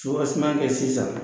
Sobaseman kɛ sisan